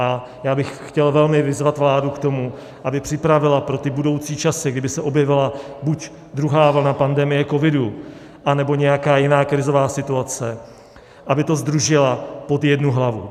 A já bych chtěl velmi vyzvat vládu k tomu, aby připravila pro ty budoucí časy, kdyby se objevila buď druhá vlna pandemie covidu nebo nějaká jiné krizová situace, aby to sdružila pod jednu hlavu.